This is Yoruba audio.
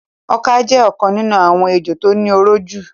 Ọka jẹ́ ọ̀kan nínú àwọn ejò tó ní oró jù.